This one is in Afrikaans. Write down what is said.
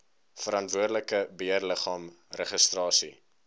verantwoordelike beheerliggaam registrasie